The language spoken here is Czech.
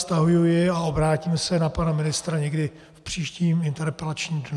Stahuji ji a obrátím se na pana ministra někdy v příštím interpelačním dnu.